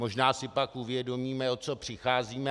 Možná si pak uvědomíme, o co přicházíme.